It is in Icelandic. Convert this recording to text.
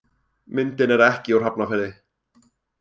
Myndin er ekki úr Hafnarfirði.